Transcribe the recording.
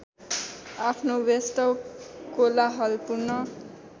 आफ्नो व्यस्त कोलाहलपूर्ण